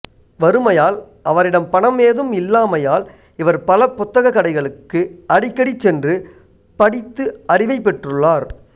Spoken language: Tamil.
வறுமையால் அவரிடம் பணம் ஏதும் இல்லாமையால் இவர் பல புத்தகக் கடைகளுக்கு அடிக்கடிச் சென்று படித்து அறிவைப் பெற்றுள்ளார்